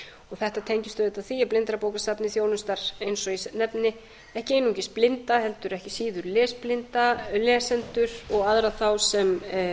þetta tengist auðvitað því að blindrabókasafnið þjónustar eins og ég nefni ekki einungis blinda heldur ekki síður lesblinda lesendur og aðra þá sem